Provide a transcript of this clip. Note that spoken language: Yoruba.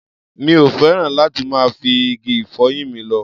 Mi ò fẹ́ràn láti máa fi igi ìfọyín mi lọ́.